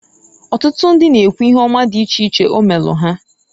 Otutu ndi na-ekwu ihe oma di iche iche o meelu ha.